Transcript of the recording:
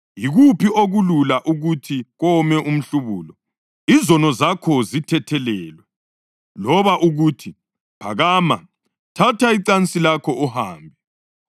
Yikuphi okulula: ukuthi kowome umhlubulo: ‘Izono zakho sezithethelelwe,’ loba ukuthi, ‘Phakama, thatha icansi lakho uhambe’?